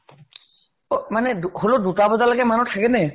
অ মানে দু হলেও দুটা বজালৈকে মানুহ থাকে নে?